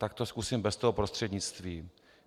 Tak to zkusím bez toho prostřednictví.